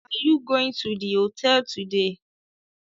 Are you going to the hotel today